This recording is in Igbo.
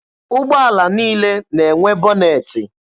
Ụgbọala niile na-enwe bọnetị.